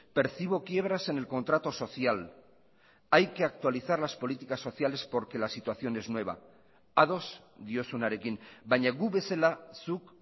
percibo quiebras en el contrato social hay que actualizar las políticas sociales porque la situación es nueva ados diozunarekin baina gu bezala zuk